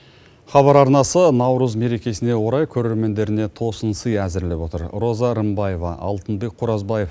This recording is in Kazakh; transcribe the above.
хабар арнасы наурыз мерекесіне орай көрермендеріне тосын сый әзірлеп отыр роза рымбаева алтынбек қоразбаев